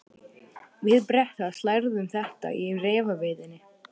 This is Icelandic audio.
Við Bretar lærum þetta í refaveiðinni.